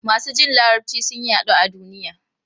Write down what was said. Masu jin Larabci sun yaɗu a duniya.